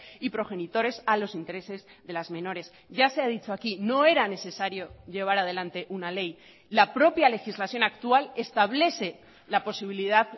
y progenitores a los intereses de las menores ya se ha dicho aquí no era necesario llevar adelante una ley la propia legislación actual establece la posibilidad